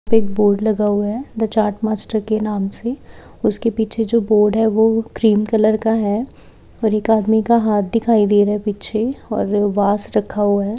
एक बोर्ड लगाया हुआ है द चाट मास्टर के नाम से उसके पीछे जो बोर्ड है वो क्रिम कलर का है और एक आदमी का हाथ दिखाई दे रहा है पीछे और एक वाज रखा हुआ है।